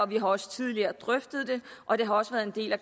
vi har også tidligere drøftet det og det har også været en del af